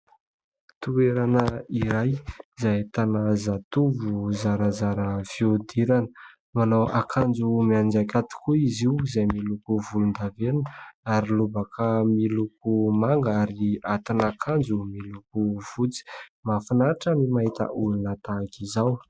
Toerana iray izay ahitana zatovo zarazara fihodirana manao akanjo mianjaika tokoa izy io. Izay miloko volondavenina, ary lobaka miloko manga, ary ati'akanjo miloko fotsy. Mafinatra ny mahita olona tahaka izao.